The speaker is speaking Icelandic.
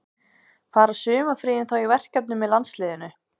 Fara sumarfríin þá í verkefni með landsliðinu?